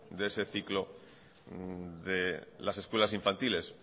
de ese ciclo de las escuelas infantiles